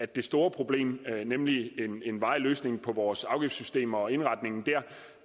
det store problem nemlig en varig løsning på vores afgiftssystem og indretningen